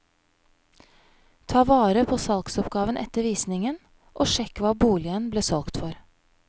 Ta vare på salgsoppgaven etter visningen, og sjekk hva boligen ble solgt for.